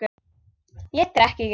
Ég drekk ekki.